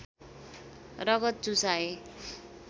रगत चुसाए